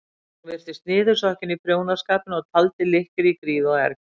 Hún virtist niðursokkin í prjónaskapinn og taldi lykkjur í gríð og erg.